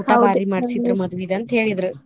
ಊಟಾ ಭಾರಿ ಮಾಡ್ಸಿದ್ರ ಮದ್ವಿದ ಅಂತ ಹೇಳಿದ್ರ.